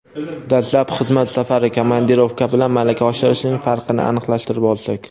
Dastlab xizmat safari (komandirovka) bilan malaka oshirishning farqini aniqlashtirib olsak.